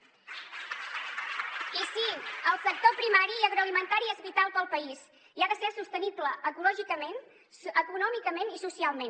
i sí el sector primari i agroalimentari és vital per al país i ha de ser sostenible ecològicament econòmicament i socialment